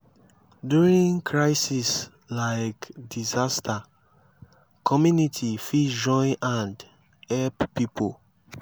during crisis like disaster community fit join hand help pipo